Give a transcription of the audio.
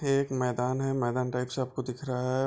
ये एक मैदान है मैदान टाइप सबको दिख रहा है।